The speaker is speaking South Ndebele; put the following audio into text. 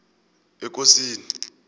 ekosini